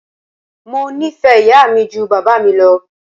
Mo nífẹ̀ẹ́ ìyá mi ju bàbá mi lọ.